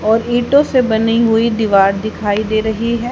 और ईटों से बनी हुई दीवार दिखाई दे रही है।